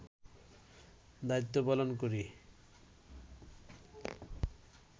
দায়িত্ব পালন করি